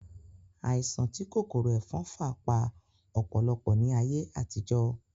Àìsàn tí kòkòrò ẹ̀fọn fà pa ọ̀pọ̀lọpọ̀ ní ayé àtijó